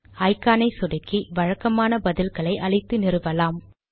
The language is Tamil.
ஐகானை சொடுக்கி வழக்கமான பதில்களை அளித்து நிறுவலாம்